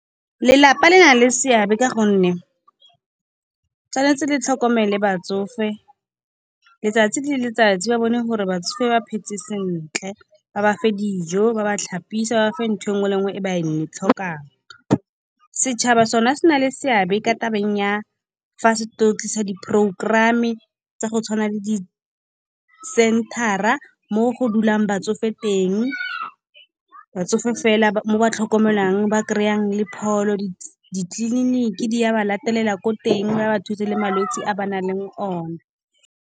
Lelapa le na le seabe ka gonne tshwanetse le tlhokomele batsofe letsatsi le letsatsi, ba bone gore batsofe ba phetse sentle. Ba ba fa dijo, ba ba tlhapise, ba ba fe ntho engwe le engwe e ba e tlhokang. Setšhaba sone se na le seabe ka tabeng ya fa se tlo tlisa di-programme, tsa go tshwana le di-center-a mo go dulang batsofe teng. Batsofe fela mo ba tlhokomelwang ba kry-ang le pholo, ditleliniki di ya ba latelela ko teng, ba ba thuse le malwetse a ba nang le o ne.